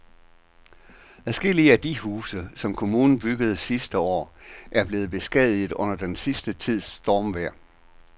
Adskillige af de huse, som kommunen byggede sidste år, er blevet beskadiget under den sidste tids stormvejr.